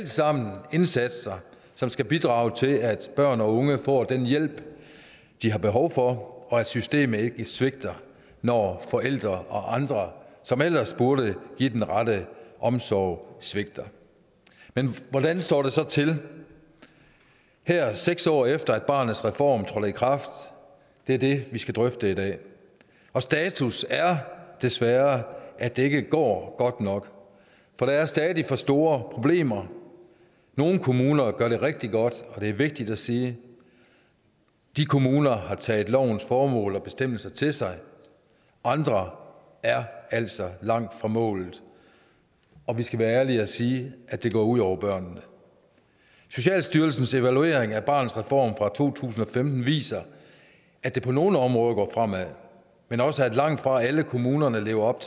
sammen indsatser som skal bidrage til at børn og unge får den hjælp de har behov for og at systemet ikke svigter når forældre og andre som ellers burde give den rette omsorg svigter men hvordan står det så til her seks år efter at barnets reform trådte i kraft det er det vi skal drøfte i dag status er desværre at det ikke går godt nok for der er stadig for store problemer nogle kommuner gør det rigtig godt og det er vigtigt at sige at de kommuner har taget lovens formål og bestemmelser til sig andre er altså langt fra målet og vi skal være ærlige og sige at det går ud over børnene socialstyrelsens evaluering af barnets reform fra to tusind og femten viser at det på nogle områder går fremad men også at langtfra alle kommuner lever op